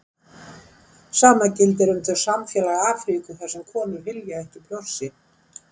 Sama gildir um þau samfélög Afríku þar sem konur hylja ekki brjóst sín.